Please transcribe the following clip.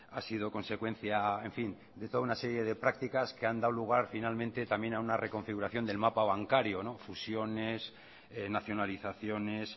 ha sido consecuencia en fin de toda una serie de prácticas que han dado lugar finalmente también a una reconfiguración del mapa bancario fusiones nacionalizaciones